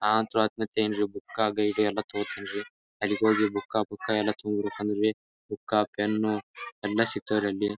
ನನ್ ಅಂತೂ book guide ಎಲ್ಲ ತಗೋತೀನಿ ರೀ ಎಲ್ಲಿಗೆ ಹೋಗಿ ಬುಕ್ ಬುಕ್ ಎಲ್ಲ ತೊಗೊಂಬರ್ಬೇಕಂದ್ರರಿ ಬುಕ್ ಪೆನ್ನು ಎಲ್ಲ ಸಿಗ್ತಾವ್ ರೀ ಅಲ್ಲಿ .